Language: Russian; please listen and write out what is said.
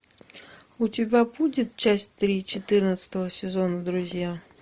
у тебя будет часть три четырнадцатого сезона друзья